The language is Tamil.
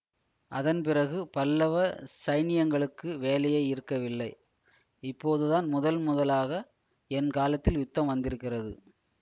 அதன் பிறகு பல்லவ சைனியங்களுக்கு வேலையே இருக்கவில்லை இப்போது தான் முதன் முதலாக என் காலத்தில் யுத்தம் வந்திருக்கிறது